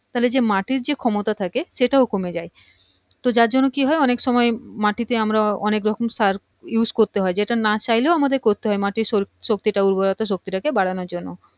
তাহলে মাটির যে ক্ষমতা থাকে সেটাও কমে যায় তো যার জন্য কি হয় সময় মাটিতে আমরা অনেক রকম সার use করতে হয় যেটা না চাইলেও আমাদের করতে হয় মাটির শক্তিটা উর্বরোতা শক্তিটা কে বাড়ানোর জন্য